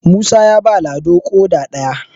musa ya ba lado ƙoda ɗaya